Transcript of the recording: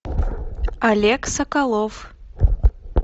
олег соколов